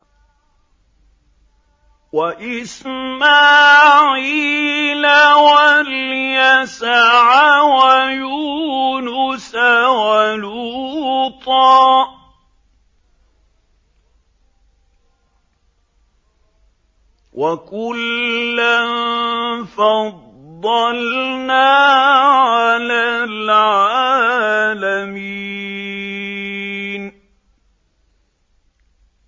وَإِسْمَاعِيلَ وَالْيَسَعَ وَيُونُسَ وَلُوطًا ۚ وَكُلًّا فَضَّلْنَا عَلَى الْعَالَمِينَ